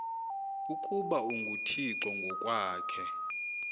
ukuba unguthixo ngokwakhe